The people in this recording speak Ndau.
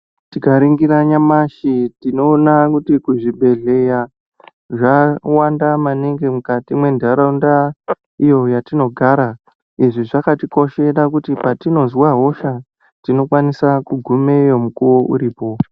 Tikaringira nyamashi tinoona kuti kuzvibhedhleya zvawanda maningi mwentharaunda iyo yatinogara izvi zvakatikoshera kuti patinozwa hosha tinokwanisa kugumeyo mukuwo uripo.